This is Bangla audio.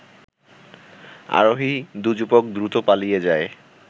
আরোহী দুযুবক দ্রুত পালিয়ে যায়